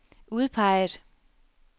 udpeget